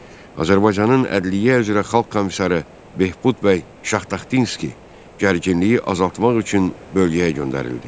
Azərbaycanın ədliyyə üzrə xalq komissarı Behbud bəy Şahtaxtinski gərginliyi azaltmaq üçün bölgəyə göndərildi.